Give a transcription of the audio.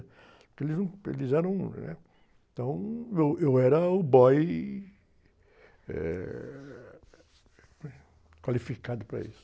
Porque eles, num, eles eram, né? Então, eu, eu era o boy, eh, como é? Qualificado para isso.